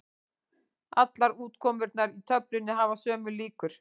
Allar útkomurnar í töflunni hafa sömu líkur.